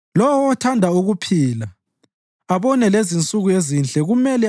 Lowo othanda ukuphila abone lezinsuku ezinhle kumele